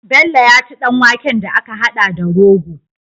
Bello ya ci dan waken da aka hada da rogo